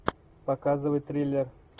показывай триллер